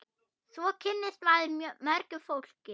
Svo kynnist maður mörgu fólki.